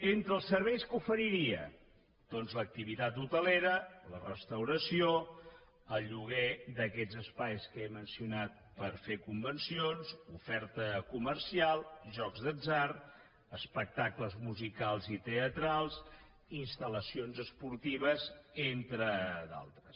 entre els serveis què oferiria doncs l’activitat hotelera la restauració el lloguer d’aquests espais que he mencionat per fer convencions oferta comercial jocs d’atzar espectacles musicals i teatrals instal·lacions esportives entre d’altres